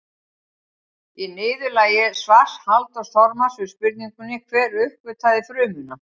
Í niðurlagi svars Halldórs Þormars við spurningunni Hver uppgötvaði frumuna?